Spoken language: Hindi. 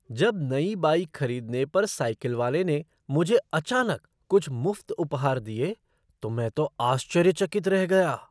जब नई बाइक खरीदने पर साइकिल वाले ने मुझे अचानक कुछ मुफ़्त उपहार दिए तो मैं तो आश्चर्यचकित रह गया।